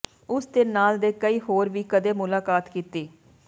ਉਸ ਦੇ ਨਾਲ ਦੇ ਕਈ ਹੋਰ ਵੀ ਕਦੇ ਮੁਲਾਕਾਤ ਕੀਤੀ